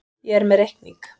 Ég er með reikning.